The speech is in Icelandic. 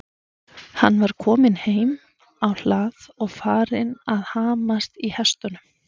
Hann var kominn heim á hlað og farinn að hamast í hestunum.